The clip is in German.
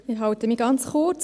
Ich fasse mich kurz.